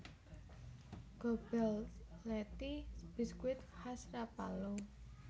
Gobelletti biskuit khas Rapallo